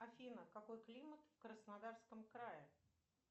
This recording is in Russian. афина какой климат в краснодарском крае